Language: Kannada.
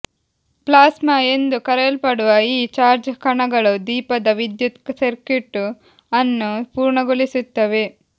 ಪ್ಲಾಸ್ಮಾ ಎಂದು ಕರೆಯಲ್ಪಡುವ ಈ ಚಾರ್ಜ್ ಕಣಗಳು ದೀಪದ ವಿದ್ಯುತ್ ಸರ್ಕ್ಯೂಟ್ ಅನ್ನು ಪೂರ್ಣಗೊಳಿಸುತ್ತವೆ